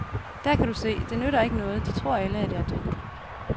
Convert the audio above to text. Der kan du se, det nytter ikke noget, de tror alle, at jeg er død.